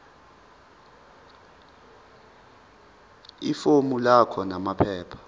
ifomu lakho namaphepha